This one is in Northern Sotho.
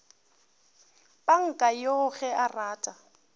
panka yoo ge a rata